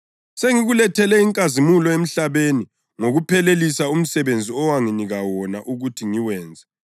Sengikulethele inkazimulo emhlabeni ngokuphelelisa umsebenzi owanginika wona ukuthi ngiwenze.